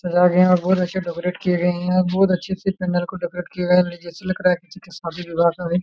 सजाया गया है और बहुत अच्छा डेकोरेट गए है और बहुत अच्छे पैंडल को डेकोरेट गया है जैसे लग रहा है किसका सदी विवाह का हैं।